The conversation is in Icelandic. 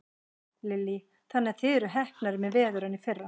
Lillý: Þannig að þið eruð heppnari með veður en í fyrra?